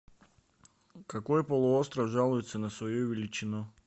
какой полуостров жалуется на свою величину